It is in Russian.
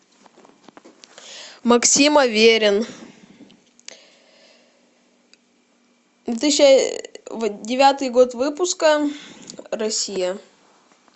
максим аверин две тысячи девятый год выпуска россия